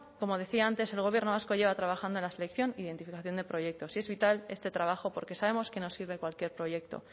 como decía antes el gobierno vasco lleva trabajando en la selección e identificación de proyectos y es vital este trabajo porque sabemos que no sirve cualquier proyecto